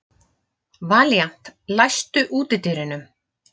Valíant, læstu útidyrunum.